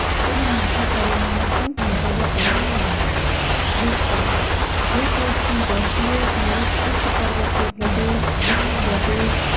તેના માથા પરિણામો પણ ભોગવવા પડ્યા છે વિસ્તાર ભૂપૃષ્ટની દ્રષ્ટિએ ભારત ઉચ્ચ પર્વતીય પ્રદેશ ઉચ્ચપ્રદેશ